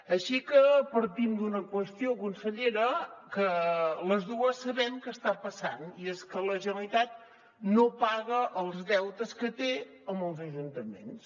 així que partim d’una qüestió consellera que les dues sabem que està passant i és que la generalitat no paga els deutes que té amb els ajuntaments